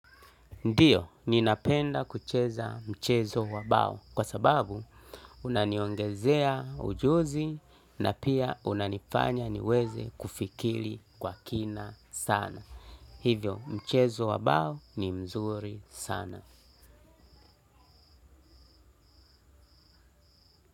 Ndio, ninapenda kucheza mchezo wa bao kwa sababu unaniongezea ujuzi na pia unanifanya niweze kufikiri kwa kina sana. Hivyo, mchezo wabao ni mzuri sana.